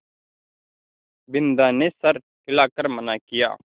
बिन्दा ने सर हिला कर मना किया